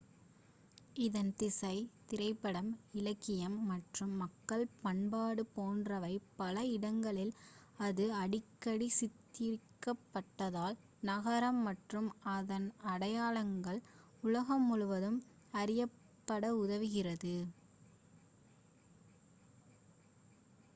இதன் இசை திரைப்படம் இலக்கியம் மற்றும் மக்கள் பண்பாடு போன்றவை பல இடங்களில் அது அடிக்கடி சித்தரிக்கப்பட்டதால் நகரம் மற்றும் அதன் அடையாளங்கள் உலகம் முழுவதும் அறியப்பட உதவியது